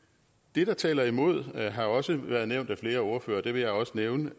det der taler imod har også været nævnt af flere ordførere og det vil jeg også nævne